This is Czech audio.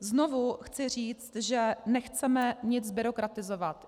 Znovu chci říct, že nechceme nic byrokratizovat.